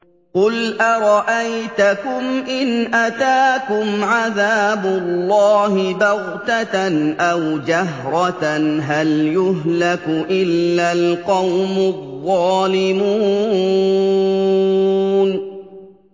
قُلْ أَرَأَيْتَكُمْ إِنْ أَتَاكُمْ عَذَابُ اللَّهِ بَغْتَةً أَوْ جَهْرَةً هَلْ يُهْلَكُ إِلَّا الْقَوْمُ الظَّالِمُونَ